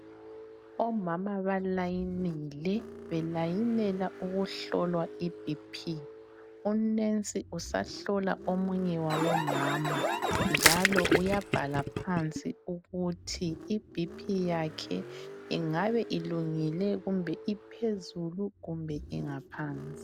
Omama balayinile belayinela ukuhlolwa i BP,unensi usahlola omunye wabomama njalo uyabhala phansi ukuthi i BP yakhe ingabe ilungile kumbe iphezulu kumbe ingaphansi.